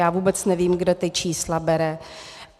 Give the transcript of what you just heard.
Já vůbec nevím, kde ta čísla bere.